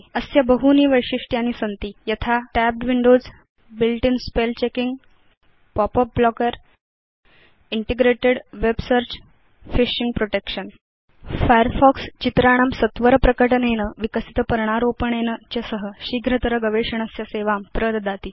अस्य बहूनि वैशिष्ट्यानि सन्ति यथा tabbed windowsbuilt in spell checkingpop up blockerइन्टिग्रेटेड् वेब searchफिशिंग प्रोटेक्शन फायरफॉक्स चित्राणां सत्वर प्रकटनेन विकसित पर्णारोपणेन च सह शीघ्रतर गवेषणस्य सेवां प्रददाति